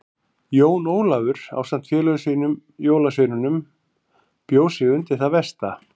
Jón Ólafur ásamt félögum sínum jólasveinunum bjó sig undir það versta.